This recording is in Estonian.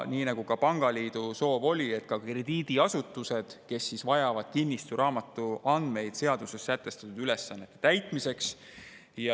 Nii nagu ka pangaliidu soov oli, on siin kirjas ka krediidiasutused, kes vajavad kinnistusraamatu andmeid seaduses sätestatud ülesannete täitmiseks.